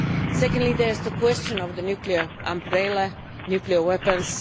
Secondly, there is the question of the nuclear umbrella, nuclear weapons.